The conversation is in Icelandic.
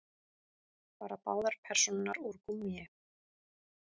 Bara báðar persónurnar úr gúmmíi.